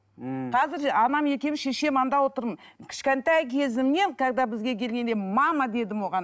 мхм қазір анам екеуіміз шешем анда отырмын кішкентай кезімнен когда бізге келгенде мама дедім оған